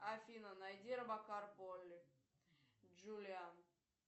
афина найди робокар полли джулиан